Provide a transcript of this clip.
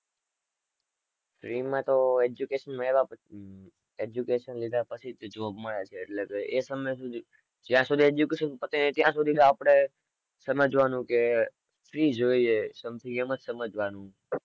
education મેળવ્યા પછી education લીધા પછી job મળે છે એટલે એ તમે ને શું થયું જ્યાં સુધી education પતે ત્યાર સુધી આપડે સમજવાનું કે something એમ જ સમજવાનું